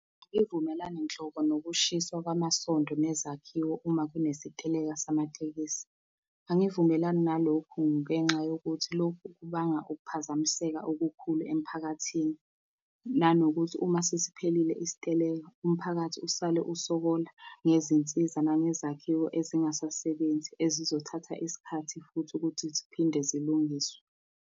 Angivumelani nhlobo nokushiswa kwamasonto nezakhiwo uma kunesiteleka samatekisi. Angivumelani nalokhu ngenxa yokuthi lokhu kubanga ukuphazamiseka okukhulu emiphakathini, nanokuthi uma sesiphelile isiteleka, umphakathi usale usokola ngezinsiza nangezakhiwo ezingasasebenzi ezizothatha isikhathi futhi ukuthi ziphinde zilungiswe.